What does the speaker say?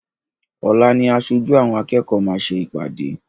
Ọ̀la ni aṣojú àwọn akẹ́kọ̀ọ́ máa ṣe ìpàdé.